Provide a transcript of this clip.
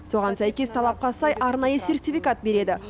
соған сәйкес талапқа сай арнайы сертификат береді